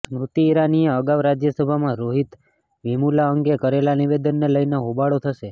સ્મૃતિ ઈરાનીએ અગાઉ રાજ્યસભામાં રોહિત વેમુલા અંગે કરેલા નિવેદનને લઈને હોબાળો થશે